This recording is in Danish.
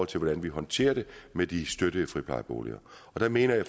til hvordan vi håndterer det med de støttede friplejeboliger og der mener jeg